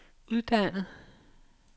uddannet